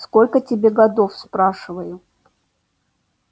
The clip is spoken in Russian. сколько тебе годов спрашиваю